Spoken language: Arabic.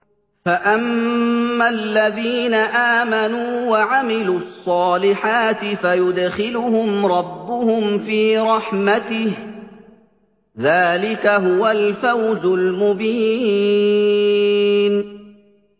فَأَمَّا الَّذِينَ آمَنُوا وَعَمِلُوا الصَّالِحَاتِ فَيُدْخِلُهُمْ رَبُّهُمْ فِي رَحْمَتِهِ ۚ ذَٰلِكَ هُوَ الْفَوْزُ الْمُبِينُ